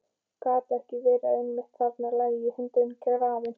Gat ekki verið að einmitt þarna lægi hundurinn grafinn?